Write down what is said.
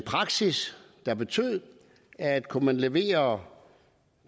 praksis der betød at kunne man levere